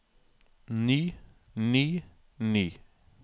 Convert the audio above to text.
ny ny ny